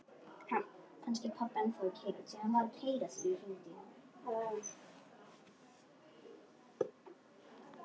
Hana hitti ég aldrei.